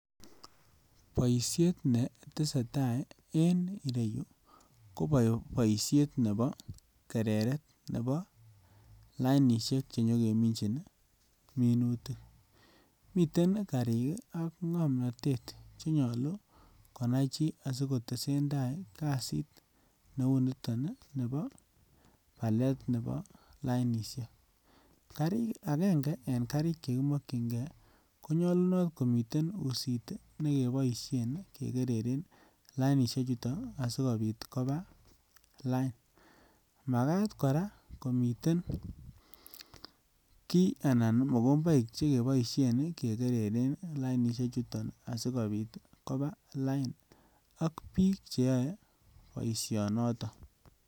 Boisiet neteseta en ireyu ko boisiet nebo kereret nebo lainisiek chenyokeminjin minutik. Miten karik ak ngomnatet chenyalu konaichi asikotesenda kasit neuniton nebo alet nebo lainisiek. Agenge en karik chekimakyinnge kinyalunot komiten usit ne keboisien kegeren lainisiechuton asigopit koba lain. Magat kora komiten kiy anan mogomboik che keboisien kegereren lainisie chuton asigopit koba lain ak biik cheyoe boisionoto.